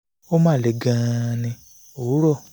ó máa ń le gan-an ní